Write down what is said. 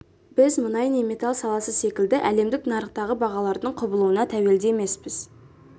біз мұнай не металл саласы секілді әлемдік нарықтағы бағалардың құбылуына тәуелді емеспіз